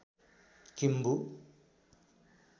Kimbu